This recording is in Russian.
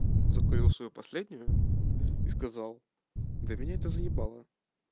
закурил свою последнюю и сказал да меня это заебало